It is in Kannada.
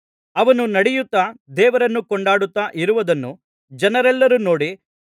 ಅವನು ನಡೆಯುತ್ತಾ ದೇವರನ್ನು ಕೊಂಡಾಡುತ್ತಾ ಇರುವದನ್ನು ಜನರೆಲ್ಲರು ನೋಡಿ